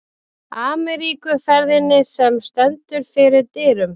Ameríkuferðinni, sem stendur fyrir dyrum.